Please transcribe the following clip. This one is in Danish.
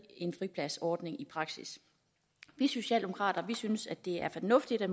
fripladsordningen i praksis vi socialdemokrater synes det er fornuftigt at